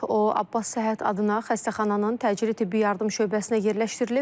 O, Abbas Səhhət adına xəstəxananın təcili tibbi yardım şöbəsinə yerləşdirilib.